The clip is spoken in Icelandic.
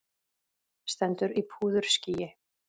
Stendur í púðurskýi.